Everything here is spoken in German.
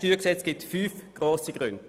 – Es gibt fünf gute Gründe.